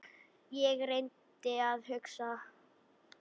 Ég reyndi að hugsa.